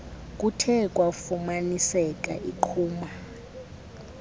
kuthe kwafumaniseka iqhuma